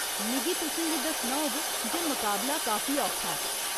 मिगी तुसें गी दस्सना होग जे मकाबला काफी औखा ऐ।